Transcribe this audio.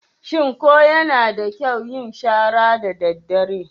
Shin ko yana da kyau yin shara daddare?